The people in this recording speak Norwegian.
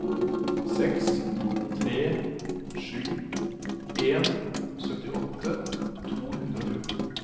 seks tre sju en syttiåtte to hundre og fjorten